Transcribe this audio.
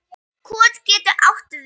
Kot getur átt við